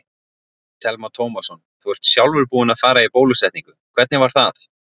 Telma Tómasson: Þú ert sjálfur búinn að fara í bólusetningu, hvernig var það?